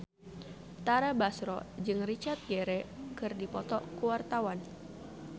Tara Basro jeung Richard Gere keur dipoto ku wartawan